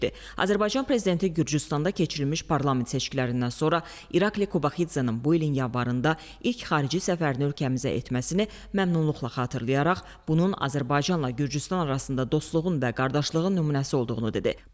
Azərbaycan Prezidenti Gürcüstanda keçirilmiş parlament seçkilərindən sonra İrakli Qobaxidzenin bu ilin yanvarında ilk xarici səfərini ölkəmizə etməsini məmnuniyyətlə xatırlayaraq, bunun Azərbaycanla Gürcüstan arasında dostluğun və qardaşlığın nümunəsi olduğunu dedi.